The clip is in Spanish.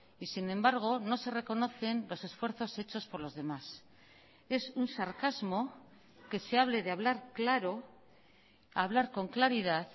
y sin embargo no se reconocen los esfuerzos hechos por los demás es un sarcasmo que se hable de hablar claro hablar con claridad